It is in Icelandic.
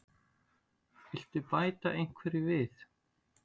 Viltu bæta einhverju við?